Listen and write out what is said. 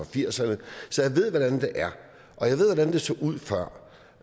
firserne så jeg ved hvordan det er og det så ud før